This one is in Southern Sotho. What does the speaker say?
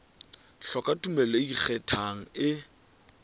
hloka tumello e ikgethang e